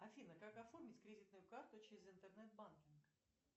афина как оформить кредитную карту через интернет банкинг